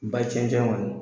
Ba cɛncɛn kɔni